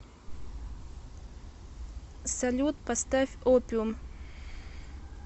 салют поставь опиум